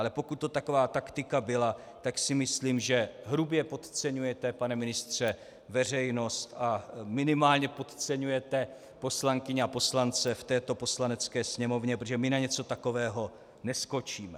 Ale pokud to taková taktika byla, tak si myslím, že hrubě podceňujete, pane ministře, veřejnost a minimálně podceňujete poslankyně a poslance v této Poslanecké sněmovně, protože my na něco takového neskočíme.